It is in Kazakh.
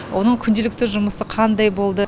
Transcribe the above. оның күнделікті жұмысы қандай болды